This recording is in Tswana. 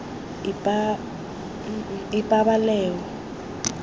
ipabaleo